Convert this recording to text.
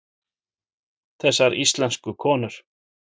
Þessar íslensku konur!